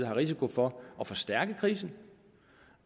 en risiko for at forstærke krisen